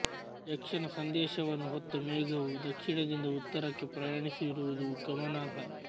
ಯಕ್ಷನ ಸಂದೇಶವನ್ನು ಹೊತ್ತ ಮೇಘವು ದಕ್ಷಿಣದಿಂದ ಉತ್ತರಕ್ಕೆ ಪ್ರಯಾಣಿಸಿರುವುದು ಗಮನಾರ್ಹ